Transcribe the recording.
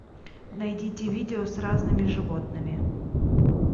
найдите видео с разными животными